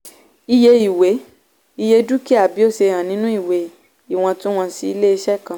iye ìwé - iye dúkìá bí ó ṣe hàn nínú ìwé ìwọ̀ntunwọ̀nsí ilé-iṣẹ́ kan.